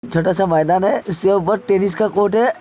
छोटा सा मैदान है इसके ऊपर टेनिस का कोर्ट है।